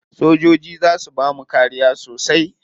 Sojoji za su bamu kariya sosai.